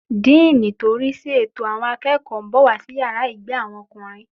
Díìnì tí ò ń rísí ètò àwọn akẹ́kọ̀ọ́ ń bọ̀ wá sí yàrá ìgbé àwọn ọkùnrin